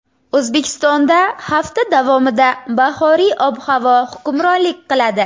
O‘zbekistonda hafta davomida bahoriy ob-havo hukmronlik qiladi.